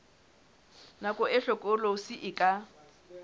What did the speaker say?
nako e hlokolosi e ka